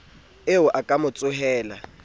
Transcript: eo a ka mo tsohela